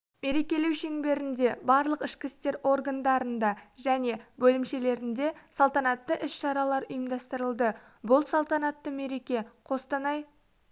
мерекелеу шеңберінде барлық ішкі істер органдарында және бөлімшелерінде салтанатты іс-шаралар ұйымдастырылды бұл салтанатты мереке қостанай